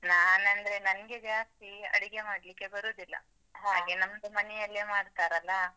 ನಾನ್ ಅಂದ್ರೆ ನಂಗೆ ಜಾಸ್ತಿ ಅಡುಗೆ ಮಾಡ್ಲಿಕ್ಕೆ ಬರುದಿಲ್ಲ. ಹಾಗೆ ನಮ್ದು ಮನೆಯಲ್ಲೇ ಮಾಡ್ತಾರಲ್ಲಾ?